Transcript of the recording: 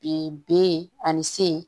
Bi b ani c